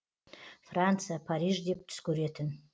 франция париж деп түс көретін